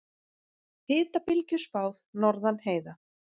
Hitabylgju spáð norðan heiða